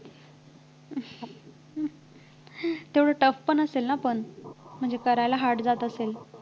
तेवढं tough पण असेल ना पण म्हणजे करायला hard जात असेल